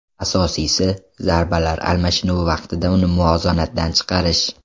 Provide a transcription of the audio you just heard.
Asosiysi, zarbalar almashinuvi vaqtida uni muvozanatdan chiqarish.